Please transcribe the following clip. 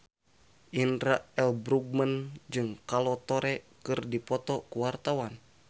Indra L. Bruggman jeung Kolo Taure keur dipoto ku wartawan